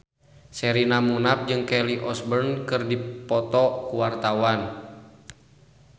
Sherina Munaf jeung Kelly Osbourne keur dipoto ku wartawan